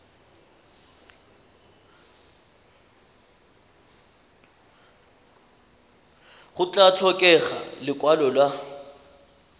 go tla tlhokega lekwalo la